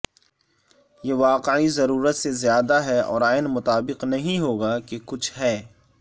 یہ واقعی ضرورت سے زیادہ ہے اور عین مطابق نہیں ہو گا کہ کچھ ہے